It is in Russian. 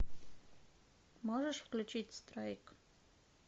можешь включить страйк